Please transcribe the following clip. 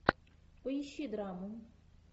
поищи драму